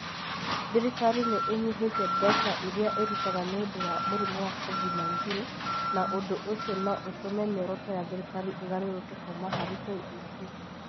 Thirikari nĩ ĩnyihĩte mbeca iria ĩrutaga nĩ ũndũ wa mũrimũ wa COVID-19 na ũndũ ũcio no ũtũme mĩoroto ya thirikari ĩgarũrũke kũũma harĩ KEC.